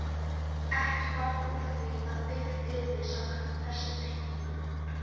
Ekki varð úr því að byggt yrði samkvæmt þessum teikningum.